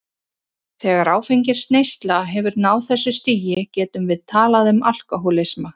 Þegar áfengisneysla hefur náð þessu stigi getum við talað um alkohólisma.